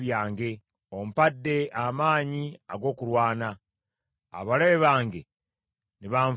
Ompadde amaanyi ag’okulwana; abalabe bange ne banvuunamira.